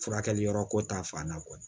Furakɛli yɔrɔko ta fan na